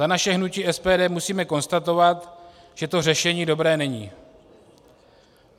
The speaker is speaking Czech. Za naše hnutí SPD musíme konstatovat, že to řešení dobré není.